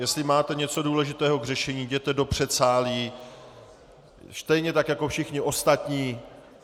Jestli máte něco důležitého k řešení, jděte do předsálí , stejně tak jako všichni ostatní.